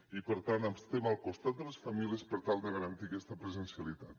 i per tant estem al costat de les famílies per tal de garantir aquesta presencialitat